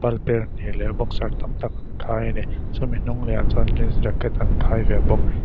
leh boxer tam tak an khai a ni chumi hnung leh a chuan jeans jacket an khai ve bawk--